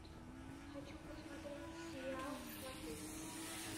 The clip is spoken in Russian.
хочу посмотреть сериал сваты